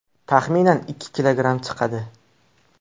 Taxminan ikki kilogramm chiqadi.